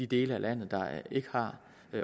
dele af landet der ikke har